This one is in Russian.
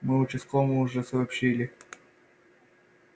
мы участковому уже сообщили